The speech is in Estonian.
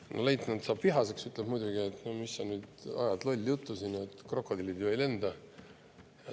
Leitnant saab selle peale vihaseks ja ütleb, et mis sa ajad nüüd lolli juttu, krokodillid ju ei lenda.